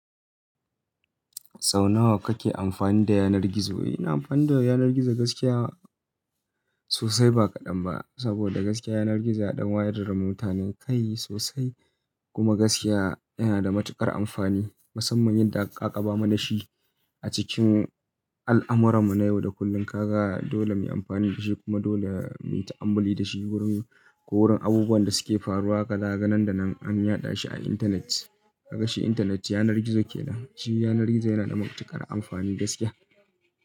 Sau nawa kake amfani da yanar gizo? Ina amfani da yanar gizo gaskiya sosai ba kaɗan ba. Saboda gaskiya yanar gizo ya ɗan wayar da mutane kai sosai. Kuma gaskiya yana da matuƙar amfani, musamman yadda aka ƙakaɓa mana dashi a cikin al'amurarmu na yau da kullum. Kaga dole muyi amfani dashi kuma dole mu yi ta'ammuli dashi wurin ko wurin abubuwan da suke faruwa. Ka ga nan da nan an yaɗa shi a internet. Ka ga shi internet yanar gizo ke nan. Shi yanar gizo yana da matuƙar amfani gaskiya.